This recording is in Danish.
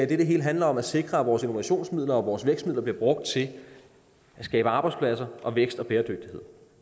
det hele handler om at sikre at vores innovationsmidler og vores vækstmidler bliver brugt til at skabe arbejdspladser og vækst og bæredygtighed